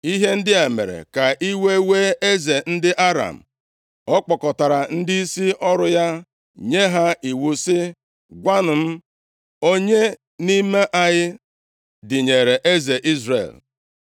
Ihe ndị a mere ka iwe wee eze ndị Aram. Ọ kpọkọtara ndịisi ọrụ ya nye ha iwu sị, “Gwanụ m, onye nʼime anyị dịnyere eze Izrel?”